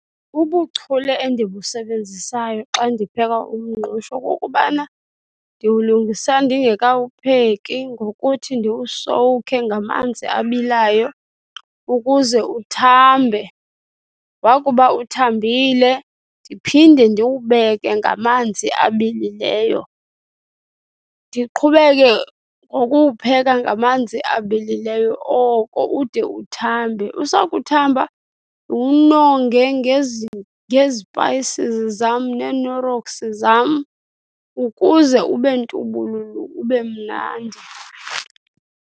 Ubuchule endibusebenzisayo xa ndipheka umngqusho kukubana ndiwulungisa ndingekawupheki ngokuthi ndiwusowukhe ngamanzi abilayo ukuze uthambe. Wakuba uthambile ndiphinde ndiwubeka ngamanzi abilileyo. Ndiqhubeke ngokuwupheka ngamanzi abilileyo oko ude ude uthambe. Usakuthamba ndiwunonge ngezipayisi zam neeKnorrox zam ukuze ube ntubululu, ube mnandi.